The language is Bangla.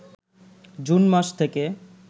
জুন মাস থেকে